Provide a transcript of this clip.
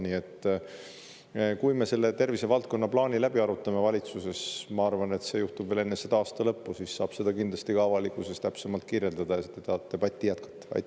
Nii et kui me tervisevaldkonna plaani valitsuses läbi arutame – ma arvan, et see juhtub veel enne selle aasta lõppu –, siis saab seda kindlasti ka avalikkusele täpsemalt kirjeldada ja siis te saate debatti jätkata.